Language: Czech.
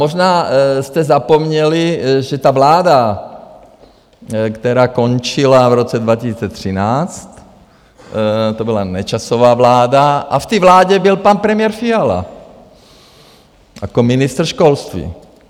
Možná jste zapomněli, že ta vláda, která končila v roce 2013, to byla Nečasova vláda, a v té vládě byl pan premiér Fiala jako ministr školství.